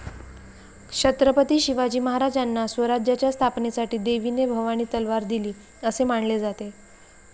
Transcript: छत्रपती शिवाजी महाराजांना स्वराज्याच्या स्थापनेसाठी देवीने भवानी तलवार दिली असे मानले जाते.